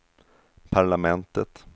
parlamentet